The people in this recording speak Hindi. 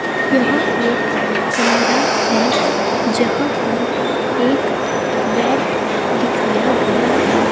यह एक कमरा है जहां पर एक बेड दिखाया गया है.